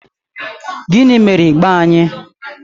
Gịnị mere ịgba anyị?